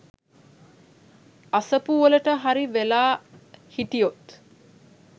අසපු වලට හරි වෙලා හිටියොත්